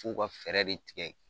F'u ka fɛɛrɛ de tigɛ